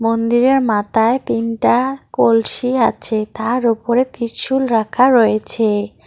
মন্দিরের মাথায় তিনটা কলসি আছে তার ওপরে ত্রিশূল রাখা রয়েছে।